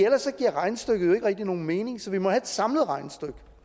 ellers giver regnestykket jo ikke rigtig nogen mening så vi må have et samlet regnestykke